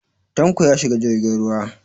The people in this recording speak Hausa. Tanko ya shiga jirgin ruwa.